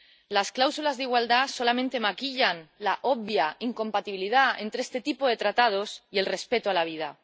Las cláusulas de igualdad solamente maquillan la obvia incompatibilidad entre este tipo de tratados y el respeto a la vida.